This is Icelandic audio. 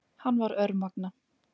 Hann var örmagna.